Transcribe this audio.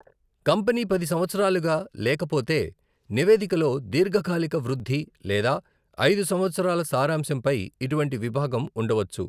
Company పది సంవత్సరాలుగా లేకపోతే, నివేదికలో 'దీర్ఘకాలిక వృద్ధి' లేదా 'ఐదు సంవత్సరాల సారాంశం' పై ఇటువంటి విభాగం ఉండవచ్చు.